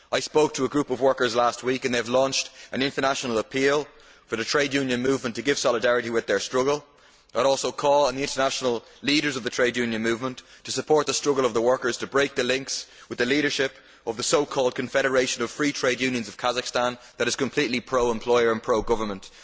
I spoke to a group of workers last week who have launched an international appeal for the trade union movement to show solidarity with their struggle and have also called on the international leaders of the trade union movement to support the struggle of the workers to break the links with the leadership of the so called Confederation of Free Trade Unions of Kazakhstan, which is completely pro employer and pro government.